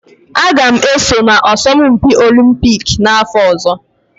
Aga m eso na asọmpi Olumpiki n'afọ ọzọ